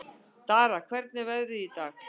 Dara, hvernig er veðrið í dag?